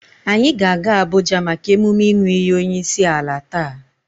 Anyị ga-aga Abuja maka emume ịnụ iyi onyeisiala taa.